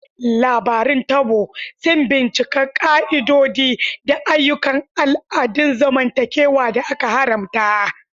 Labarun Taboo suna bincika ƙa'idodi da ayyukan al'adun zamantakewa da aka haramta.